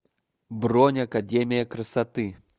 бронь академия красоты